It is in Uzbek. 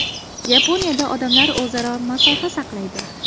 Yaponiyada odamlar o‘zaro masofa saqlaydi.